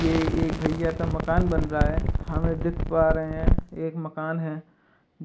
ये एक भैइया का मकान बन रहा है। हम देख पा रहे है एक मकान है